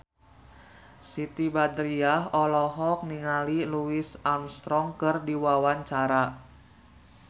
Siti Badriah olohok ningali Louis Armstrong keur diwawancara